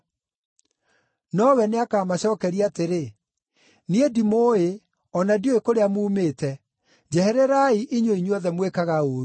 “Nowe nĩakamacookeria atĩrĩ, ‘Niĩ ndimũũĩ, o na ndiũĩ kũrĩa muumĩte. Njehererai, inyuĩ inyuothe mwĩkaga ũũru!’